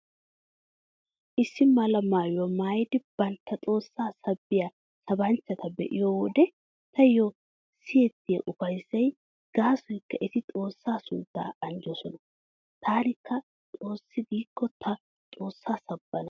Issi mala maayuwaa maayidi bantta xoossaa sabbiyaa sabanchchata be'iyo wode taayyo siyettiyay ufayssay gaasoykka eti xoossaa sunttaa anjjoosona. Taanikka xoossi giikko ta xoossaa sabbana.